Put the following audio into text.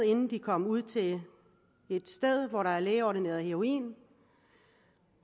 inden de kom ud til et sted hvor der er lægeordineret heroin